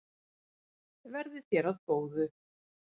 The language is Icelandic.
Verði þér að góðu.